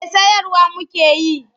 Eh sayarwa muka yi.